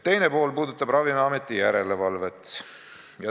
Teine pool puudutab Ravimiameti järelevalvet.